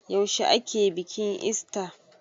Yaushe ake bikin ista?